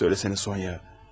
Söyləsənə Sonya.